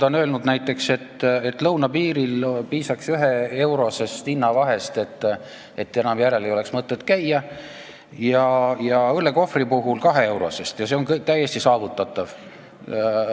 Ta on öelnud näiteks, et piisaks üheeurosest hinnavahest, et enam ei oleks mõtet lõunapiiril alkoholi järel käia, õllekohvri puhul piisaks kaheeurosest vahest ja see on täiesti saavutatav.